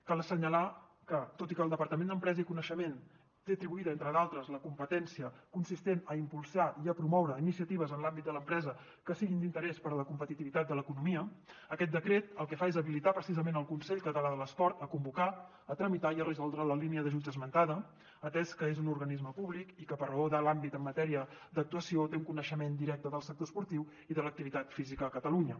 cal assenyalar que tot i que el departament d’empresa i coneixement té atribuïda entre d’altres la competència consistent a impulsar i a promoure iniciatives en l’àmbit de l’empresa que siguin d’interès per a la competitivitat de l’economia aquest decret el que fa és habilitar precisament el consell català de l’esport per convocar tramitar i resoldre la línia d’ajuts esmentada atès que és un organisme públic i que per raó de l’àmbit en matèria d’actuació té un coneixement directe del sector esportiu i de l’activitat física a catalunya